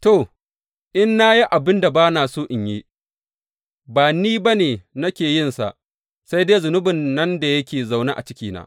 To, in na yi abin da ba na so in yi, ba ni ba ne nake yinsa, sai dai zunubin nan da yake zaune a cikina.